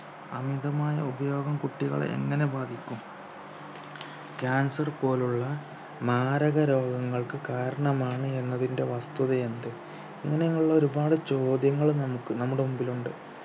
അമിതമായ ഉപയോഗം കുട്ടികളെ എങ്ങനെ ബാധിക്കും cancer പോലുള്ള മാരക രോഗങ്ങൾക്ക് കാരണമാണ് എന്നതിൻ്റെ വസ്തുതയെന്ത് അങ്ങനെയുള്ള ഒരുപാട് ചോദ്യങ്ങൾ നമുക്ക് നമ്മുടെ മുമ്പിലുണ്ട്